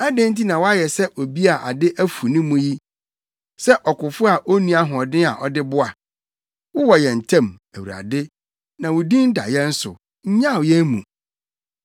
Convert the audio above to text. Adɛn nti na woayɛ sɛ obi a ade afu ne mu yi, sɛ ɔkofo a onni ahoɔden a ɔde boa? Wowɔ yɛn ntam, Awurade na wo din da yɛn so; nnyaw yɛn mu!